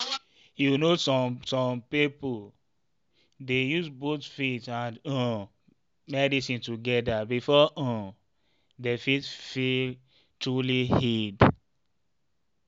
you know some some people dey use both faith and um medicine together before um dem fit feel truly healed.